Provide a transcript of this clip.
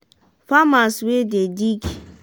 farmers wey dey dig